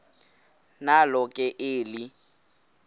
nalo ke eli